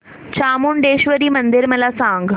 चामुंडेश्वरी मंदिर मला सांग